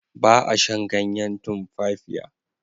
Ba a shan ganyen tumfafiya.